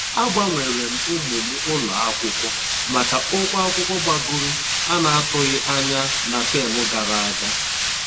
A gbanweerem ụmụ m ụlọ akwụkwọ maka ụgwọ akwụkwọ gbagoro na atụghị anya na tem gara aga